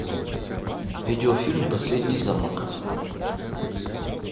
видеофильм последний замок